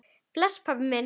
Bless, pabbi minn.